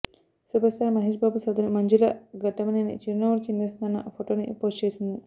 super star Mahesh Babu సోదరి మంజులా ఘట్టమనేని చిరునవ్వులు చిందిస్తోన్న ఫొటోని post చేసింది